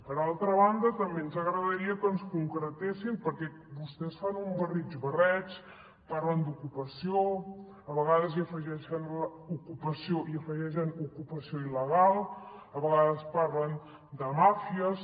per altra banda també ens agradaria que ens concretessin perquè vostès fan un barrig barreig parlen d’ocupació a vegades hi afegeixen l’ocupació i hi afegeixen l’ocupació il·legal a vegades parlen de màfies